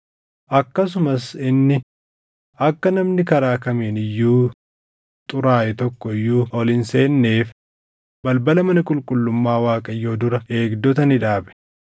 Akkasumas inni akka namni karaa kamiin iyyuu xuraaʼe tokko iyyuu ol hin seenneef balbala mana qulqullummaa Waaqayyoo dura eegdota ni dhaabe.